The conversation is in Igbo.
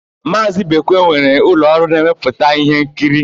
Maazị Ibekwe nwere ụlọọrụ na-emepụta íhénkiri.